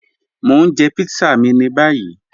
Mọ̀ ń jẹ̀ pítsà mí ní báyì